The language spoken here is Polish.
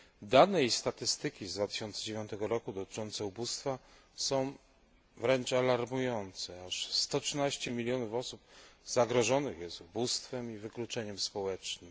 Dane i statystyki z 2009 roku dotyczące ubóstwa są wręcz alarmujące aż 113 mln osób zagrożonych jest ubóstwem i wykluczeniem społecznym.